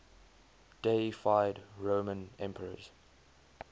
deified roman emperors